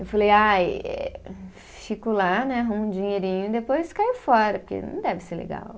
Eu falei ai, eh fico lá né, arrumo um dinheirinho e depois caio fora, porque não deve ser legal.